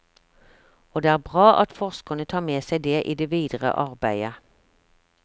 Og det er bra at forskerne tar med seg det i det videre arbeidet.